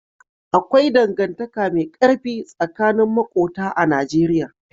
Akwai dangantaka mai ƙarfi tsakanin maƙota a Najeriya.